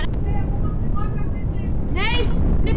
Raunar þarf hver skýring um sig ekki að útiloka hinar algerlega.